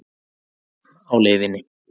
Barn á leiðinni